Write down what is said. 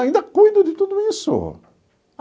Ainda cuido de tudo isso.